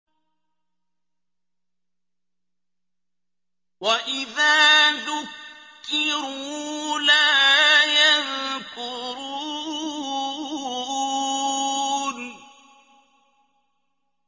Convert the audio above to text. وَإِذَا ذُكِّرُوا لَا يَذْكُرُونَ